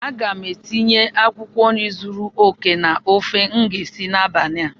A ga m etinye akwụkwọ nri zuru oke na ofe m ga-esi n'abalị a